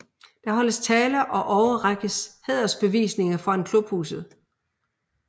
Der holdes taler og overrækkes hædersbevisninger foran klubhuset